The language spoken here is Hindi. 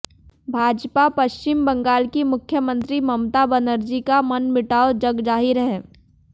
भाजपा पश्चिम बंगाल की मुख्यमंत्री ममता बनर्जी का मनमुटाव जगजाहिर है